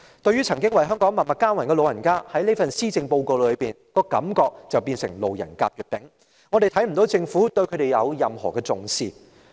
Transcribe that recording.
對於曾經為香港默默耕耘的長者，這份施政報告令人感到他們成了"路人甲、乙、丙"，我們看不到政府如何重視他們。